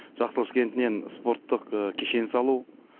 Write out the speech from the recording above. жақсықылыш кентінен спорттық кешен салу